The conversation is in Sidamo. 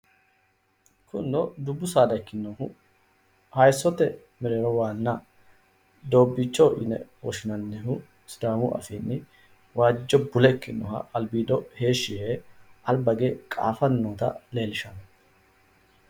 Kunino dubbu saada ikkinohu hayissote mereero waanna doobbiicho yine woshinannihu sidaamu afiinni waajjo bule ikkinoha albiido heeshi yee alba hige qaafanni noota leellishanno